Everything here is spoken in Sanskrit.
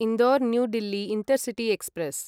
Indore New Delhi intercity express